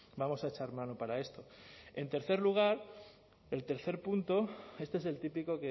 vamos a echar mano para esto en tercer lugar el tercer punto este es el típico